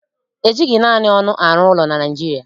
E jighị naanị ọnụ arụ ụlọ na Naịjirịa